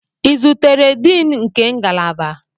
Ị zutere Diini nke ngalaba?